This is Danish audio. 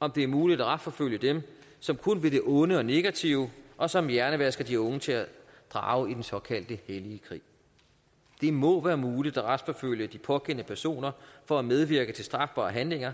om det er muligt at retsforfølge dem som kun vil det onde og negative og som hjernevasker de unge til at drage i såkaldt hellig krig det må være muligt at retsforfølge de pågældende personer for at medvirke til strafbare handlinger